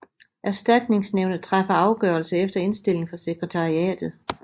Erstatningsnævnet træffer afgørelse efter indstilling fra sekretariatet